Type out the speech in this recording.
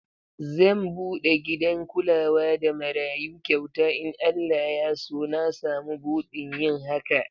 Zan bude gidan kulawa da marayu kyauta in Allah Ya so na samu budin yin haka